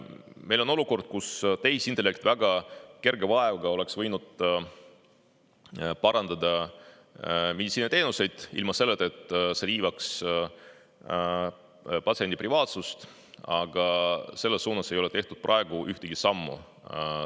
Meil on olukord, kus tehisintellekt väga kerge vaevaga oleks võinud parandada meditsiiniteenuseid, ilma et see riivaks patsiendi privaatsust, aga selles suunas ei ole tehtud praegu ühtegi sammu.